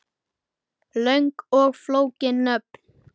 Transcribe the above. Löng og flókin nöfn